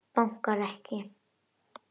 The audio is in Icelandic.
Bankar ekki.